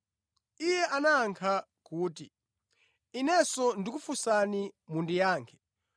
Iye anayankha kuti, “Inenso ndikufunsani, mundiyankhe,